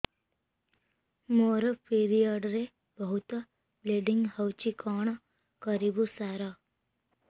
ମୋର ପିରିଅଡ଼ ରେ ବହୁତ ବ୍ଲିଡ଼ିଙ୍ଗ ହଉଚି କଣ କରିବୁ ସାର